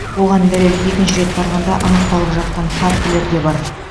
оған дәлел екінші рет барғанда анықталып жатқан фактілер де бар